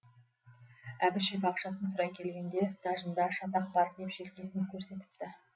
әбішев ақшасын сұрай келгенде стажында шатақ бар деп желкесін көрсетіпті